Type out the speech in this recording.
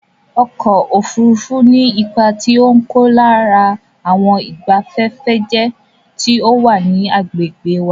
Ọkọ̀ ofurufu ní ipá tí o n kó lára àwọn ìbafẹ́fẹ́jẹ́ tí ò wà ní àgbègbè wa